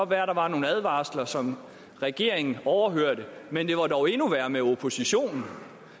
være der var nogle advarsler som regeringen overhørte men det var dog endnu værre med oppositionen